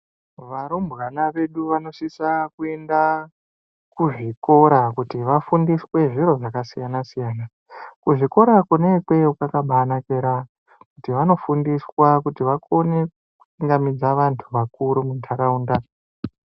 Varumwana vedu vanosvitsa pakuenda kuzvikora kuti vafundiswe zviro zvakasiyana siyana .Kuzvikora kwakanakira kuti vanofundiswa kuti vakone kuchingamidza vantu vakuru mundaraunda.